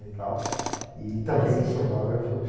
e tal, e também fotografa . Ela se chama?